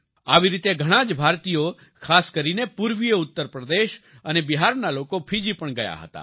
આવી રીતે ઘણાં જ ભારતીયો ખાસ કરીને પૂર્વિય ઉત્તર પ્રદેશ અને બિહારના લોકો ફિજી પણ ગયા હતા